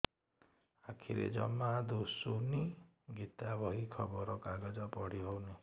ଆଖିରେ ଜମା ଦୁଶୁନି ଗୀତା ବହି ଖବର କାଗଜ ପଢି ହଉନି